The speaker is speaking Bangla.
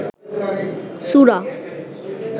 সুরা